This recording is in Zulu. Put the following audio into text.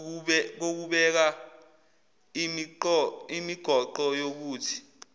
kokubeka imigoqo yokuthi